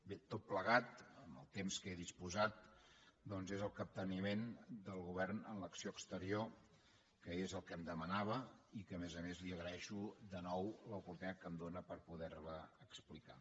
bé tot plegat amb el temps de què he disposat doncs és el capteniment del govern en l’acció exterior que és el que em demanava i que a més a més li agraeixo de nou l’oportunitat que em dóna per poder la explicar